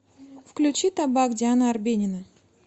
включи табак диана арбенина